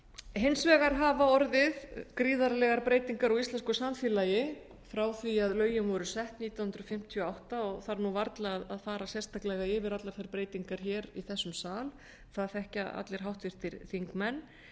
hins vegar hafa orðið gríðarlegar breytingar á íslensku samfélagi frá því að lögin voru sett nítján hundruð fimmtíu og átta og þarf varla að fara sérstaklega yfir allar þær breytingar hér í þessum sal það þekkja allir háttvirtir þingmenn